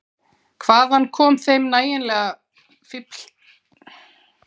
Hvaðan kom þeim nægjanleg fífldirfska, svo lítt hermannlegum mönnum?